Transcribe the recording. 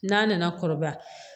N'a nana kɔrɔbaya